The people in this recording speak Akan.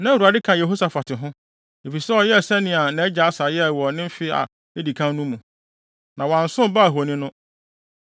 Na Awurade ka Yehosafat ho, efisɛ ɔyɛɛ sɛnea nʼagya Asa yɛe wɔ ne mfe a edi kan no mu, na wansom Baal ahoni no.